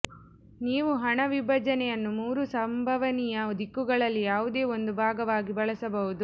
ನೀವು ಹಣ ವಿಭಜನೆಯನ್ನು ಮೂರು ಸಂಭವನೀಯ ದಿಕ್ಕುಗಳಲ್ಲಿ ಯಾವುದೇ ಒಂದು ಭಾಗವಾಗಿ ಬಳಸಬಹುದು